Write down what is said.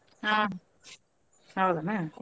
ಹಾ ಹೌದೇನ.